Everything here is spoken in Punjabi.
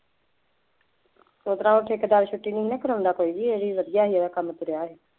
ਉਸ ਤਰ੍ਹਾਂ ਉਹ ਠੇਕੇਦਾਰ ਛੁੱਟੀ ਨਹੀਂ ਨਾ ਕਰਾਉਂਦਾ ਕੋਈ ਵੀ ਇਹੀ ਵਧੀਆ ਸੀ ਇਹਦਾ ਕੰਮ ਤੁਰਿਆ